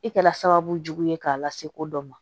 I kɛla sababu jugu ye k'a lase ko dɔ ma